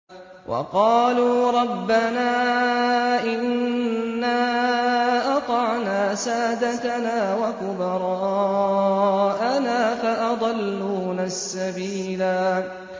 وَقَالُوا رَبَّنَا إِنَّا أَطَعْنَا سَادَتَنَا وَكُبَرَاءَنَا فَأَضَلُّونَا السَّبِيلَا